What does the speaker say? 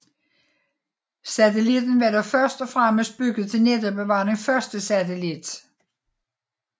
Satellitten var dog først og fremmest bygget til netop at være den første satellit